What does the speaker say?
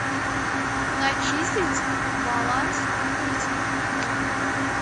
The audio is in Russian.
начислить баланс номера телефона друга